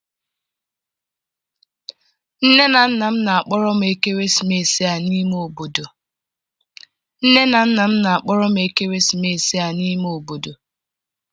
nne na nna m na-akpọrọ m ekeresimesi a n'ime obodo.